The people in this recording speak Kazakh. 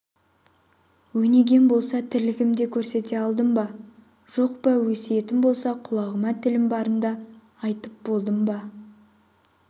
өнегем болса тірлігімде көрсете алдым ба жоқ па өсиетім болса құлағым тілім барында айтып болдым ба